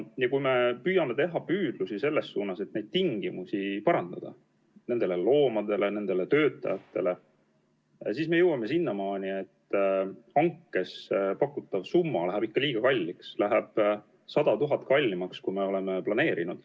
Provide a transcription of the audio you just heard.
Ja kui me püüame selles suunas, et parandada varjupaiga loomade ja nende töötajate tingimusi, siis me jõuame sinnamaani, et hankes pakutav summa läheb ikka liiga kalliks, läheb 100 000 eurot kallimaks, kui me oleme planeerinud.